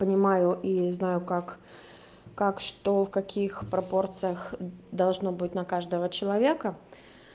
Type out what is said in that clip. понимаю и знаю как как что в каких пропорциях должно быть на каждого человека